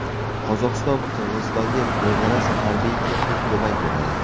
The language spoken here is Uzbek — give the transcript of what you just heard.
Qozog‘iston Qirg‘izistonga beg‘araz harbiy-texnik ko‘mak beradi.